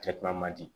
Kɛtuma man di